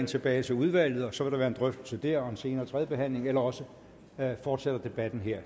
tilbage til udvalget og så vil der være en drøftelse der og en senere tredjebehandling eller også fortsætter debatten her